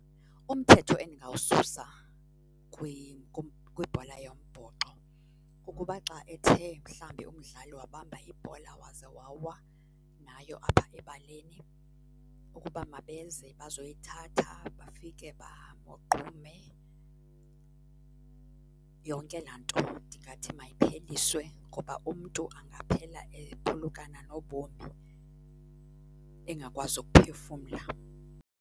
Umthetho endingawususa kwibhola yombhoxo kukuba xa ethe mhlambi umdlali wabamba ibhola waze wawa nayo apha ebaleni, ukuba mabeze bazoyithatha bafike bamogqume. Yonke laa nto ndingathi mayipheliswe ngoba umntu angaphela ephulukana nobomi engakwazi ukuphefumla.